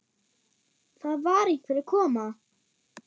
Það var einhver að koma!